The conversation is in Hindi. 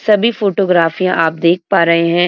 सभी फोटोग्राफियाँ आप देख पा रहे हैं।